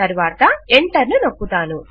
తరువాత ఎంటర్ ను నొక్కుతాను